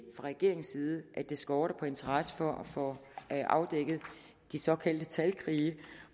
regeringens side ikke skorter på interesse for at få afdækket de såkaldte talkrige